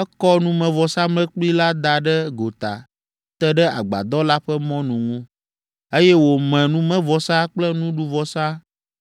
ekɔ numevɔsamlekpui la da ɖe gota te ɖe agbadɔ la ƒe mɔnu ŋu, eye wòme numevɔsa kple nuɖuvɔsa